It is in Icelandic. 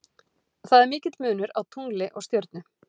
Það er mikill munur á tungli og stjörnu.